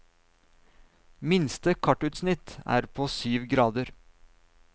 Minste kartutsnitt er på syv grader.